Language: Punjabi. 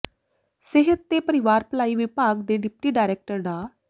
ਸਿਹਤ ਤੇ ਪਰਿਵਾਰ ਭਲਾਈ ਵਿਭਾਗ ਦੇ ਡਿਪਟੀ ਡਾਇਰੈਕਟਰ ਡਾ